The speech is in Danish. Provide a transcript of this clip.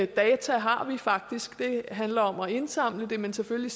data har vi faktisk det handler om at indsamle dem men selvfølgelig